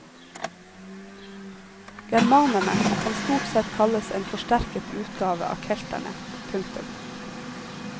Germanerne kan stort sett kalles en forsterket utgave av kelterne. punktum